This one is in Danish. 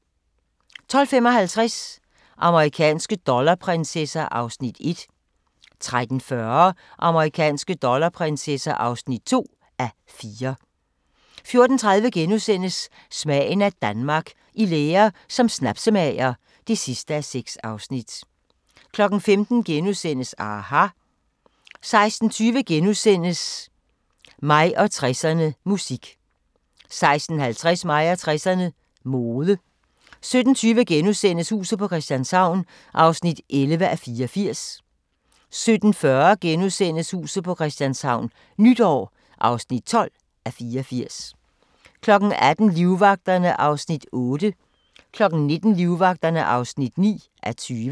12:55: Amerikanske dollarprinsesser (1:4) 13:40: Amerikanske dollarprinsesser (2:4) 14:30: Smagen af Danmark – I lære som snapsemager (6:6)* 15:00: aHA! * 16:20: Mig og 60'erne: Musik * 16:50: Mig og 60'erne: Mode 17:20: Huset på Christianshavn (11:84)* 17:40: Huset på Christianshavn - nytår (12:84)* 18:00: Livvagterne (8:20) 19:00: Livvagterne (9:20)